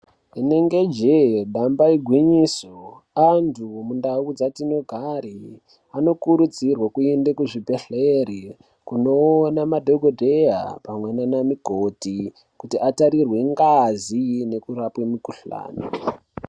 Inenge jee damba igwinyiso antu mundau dzatino gare anokurudzirwe kuende ku zvi bhedhleri kunoona madhokoteya pamwe nana mukoti kuti atarirwe ngazi neku rapwe mukuhlani.